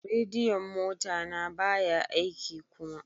Radiyon mota na baya aiki kuma.